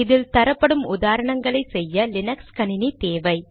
இதில் தரப்படும் உதாரணங்களை செய்ய லீனக்ஸ் கணினி தேவை